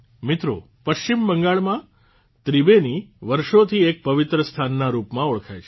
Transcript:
મિત્રો પશ્ચિમ બંગાળમાં ત્રિબેની વર્ષોથી એક પવિત્ર સ્થાનના રૂપમાં ઓળખાય છે